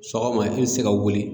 Sɔgɔma i bɛ se ka wuli